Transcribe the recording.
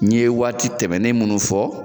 N ɲe waati tɛmɛnnen munnu fɔ